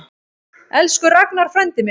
Elsku Ragnar frændi minn.